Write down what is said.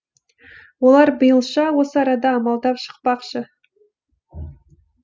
олар биылша осы арада амалдап шықпақшы